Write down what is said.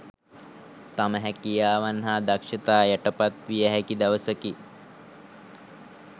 තම හැකියාවන් හා දක්ෂතා යටපත් විය හැකි දවසකි